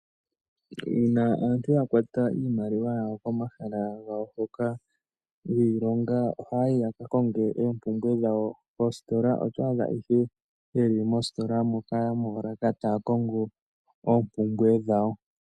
Uuna aantu yakwata iimaliwa yawo pomahala mpoka giilonga ohaya yi yakakonge oompumbwe dhawo koositola to adha yeli moositola moolaka taya kongo oompumbwe dhawo.